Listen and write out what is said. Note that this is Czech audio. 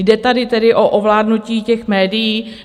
Jde tady tedy o ovládnutí těch médií?